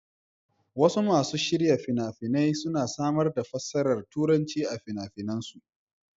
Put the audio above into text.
Wasu masu shirya fina-fina suna samar da fassarar Turanci a fina-finansu.